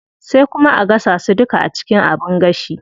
Sai kuma a gasa su duka a cikin abin gashi.